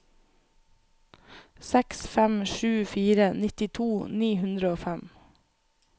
seks fem sju fire nittito ni hundre og fem